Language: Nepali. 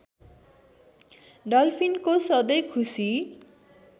डल्फिनको सधैँ खुसी